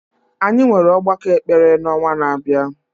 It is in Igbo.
Anyị nwere ọgbakọ ekpere n’ọnwa na-abịa